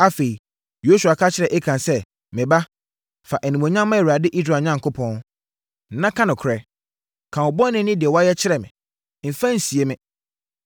Afei, Yosua ka kyerɛɛ Akan sɛ, “Me ba, fa animuonyam ma Awurade, Israel Onyankopɔn, na ka nokorɛ. Ka wo bɔne ne deɛ wayɛ kyerɛ me. Mfa nsie me.”